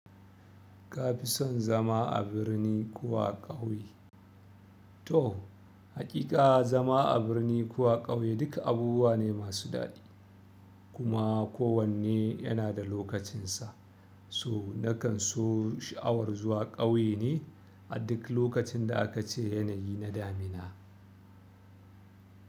Ka fi son zama a birni ko a ƙauye? To, haƙiƙa zama a birni ko a ƙauye duk abubuwa ne masu daɗi kuma kowanne yana da lokacinsa. So na kan so sha'awar zuwa ƙauye ne a duk lokacin da aka ce yanayi na damina.